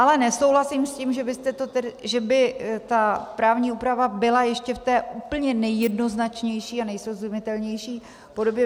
Ale nesouhlasím s tím, že by ta právní úprava byla ještě v té úplně nejjednoznačnější a nejsrozumitelnější podobě.